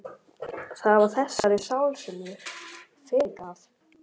Það var þessari sál sem ég fyrirgaf.